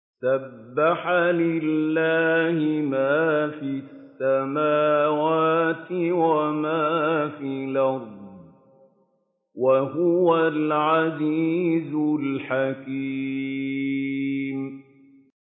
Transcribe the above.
سَبَّحَ لِلَّهِ مَا فِي السَّمَاوَاتِ وَمَا فِي الْأَرْضِ ۖ وَهُوَ الْعَزِيزُ الْحَكِيمُ